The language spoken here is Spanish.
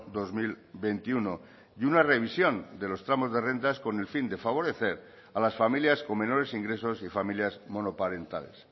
dos mil veintiuno y una revisión de los tramos de rentas con el fin de favorecer a las familias con menores ingresos y familias monoparentales